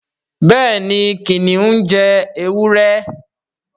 béèni kìnìún jé ewúrẹ́.